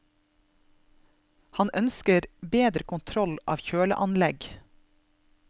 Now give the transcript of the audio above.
Han ønsker bedre kontroll av kjøleanlegg.